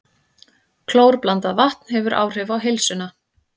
Klórblandað vatn hefur áhrif á heilsuna